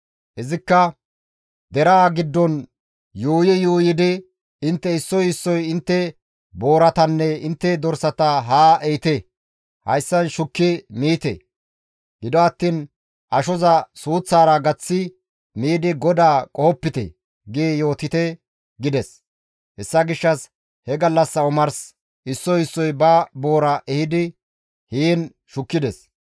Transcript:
Izikka, «Deraa giddon yuuyi yuuyidi, ‹Intte issoy issoy intte booratanne intte dorsata haa ehite; hayssan shukki miite; gido attiin ashoza suuththaara gaththi miidi GODAA qohopite› gi yootite» gides. Hessa gishshas he gallassa omars issoy issoy ba boora ehidi heen shukkides.